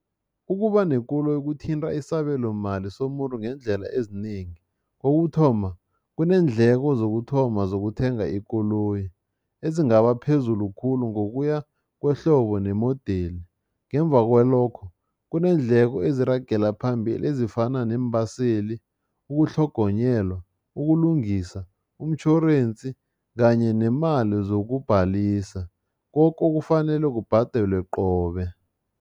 Ukuba nekoloyi kuthinta isabelomali somuntu ngeendlela ezinengi. Kokuthoma, kuneendleko zokuthoma zokuthenga ikoloyi ezingaba phezulu khulu ngokuya kwehlobo nemodeli. Ngemva kwalokho lokho kuneendleko eziragela phambili ezifana neembaseli, ukutlhogonyelwa, ukulungisa, umtjhorensi kanye nemali zokubhalisa, koke okufanele kubhadelwe qobe.